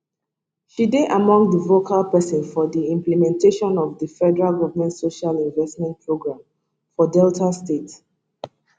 she dey among di vocal pesins for di implementation of di federal government social investment programme for delta state